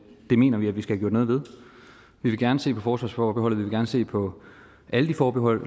mener vi vi skal have gjort noget ved vi vil gerne se på forsvarsforbeholdet og se på alle de forbehold